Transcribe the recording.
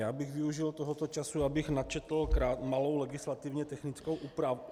Já bych využil tohoto času, abych načetl malou legislativně technickou úpravu.